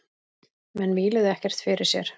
Menn víluðu ekkert fyrir sér.